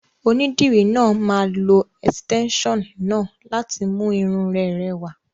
Onídìrí náà máa lo ẹ̀sìtẹ́nson náà láti mú irun rẹ rẹwà.